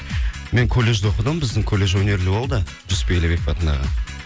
мен колледжде оқыдым біздің колледж өнерлі болды жұсіпбек атындағы